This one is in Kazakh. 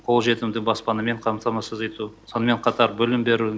қолжетімді баспанамен қамтамасыз ету сонымен қатар білім беру